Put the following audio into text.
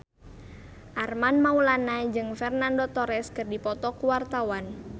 Armand Maulana jeung Fernando Torres keur dipoto ku wartawan